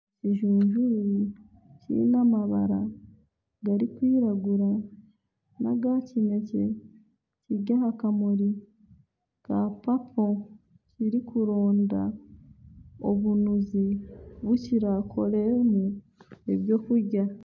Ekijunjure kiine amabara gari kwiragura n'aga kinekye kiri aha kamuri ka bujwa kirikuronda obunuzi obu kirakoreremu ebyokurya.